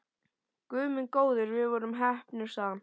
Guð minn góður, við vorum heppnir sagði hann.